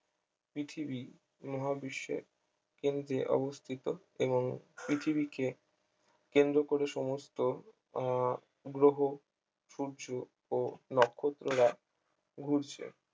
পৃথিবী মহাবিশ্বের কেন্দ্রে অবস্থিত এবং পৃথিবীকে কেন্দ্র করে সমস্ত আহ গ্রহ সূর্য ও নক্ষত্ররা ঘুরছে